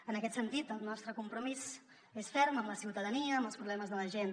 en aquest sentit el nostre compromís és ferm amb la ciutadania amb els problemes de la gent